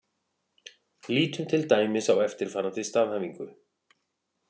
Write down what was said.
Lítum til dæmis á eftirfarandi staðhæfingu: